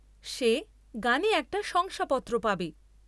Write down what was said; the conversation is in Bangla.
সে গানে একটা শংসাপত্র পাবে।